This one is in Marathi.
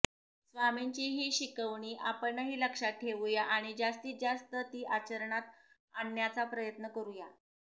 स्वामींची ही शिकवणी आपणही लक्षात ठेवूया आणि जास्तीत जास्त ती आचरणात आणण्याचा प्रयत्न करूया